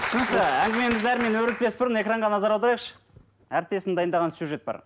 түсінікті әңгімемізді әрмен өрбітпес бұрын экранға назар аударайықшы әріптесім дайындаған сюжет бар